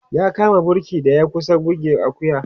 ya kama burki da ya kusa buge Akuya